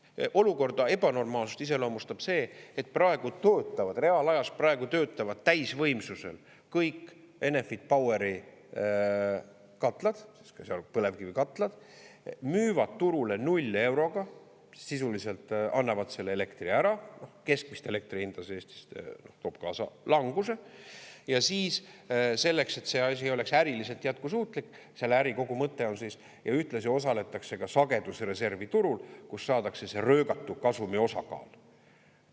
Olukorra ebanormaalsust iseloomustab see, et praegu töötavad, reaalajas praegu töötavad täisvõimsusel kõik Enefit Poweri katlad, ka põlevkivikatlad, müüvad turule null euroga, sisuliselt annavad selle elektri ära, keskmist elektri hinda, see Eestis toob kaasa languse, ja siis selleks, et see asi oleks äriliselt jätkusuutlik, selle äri kogu mõte on siis, ja ühtlasi osaletakse ka sagedusreservi turul, kus saadakse röögatu kasumiosakaal.